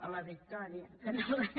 a la victòria que no veig